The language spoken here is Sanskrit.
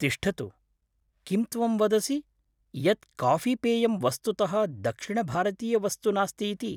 तिष्ठतु! किं त्वं वदसि यत् काफ़ीपेयं वस्तुतः दक्षिणभारतीयवस्तु नास्ति इति?